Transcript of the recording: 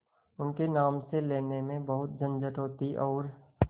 उनके नाम से लेने में बहुत झंझट होती और